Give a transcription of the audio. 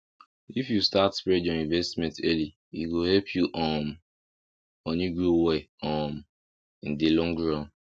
if you start spread your investment early e go help your um money grow well um in the long run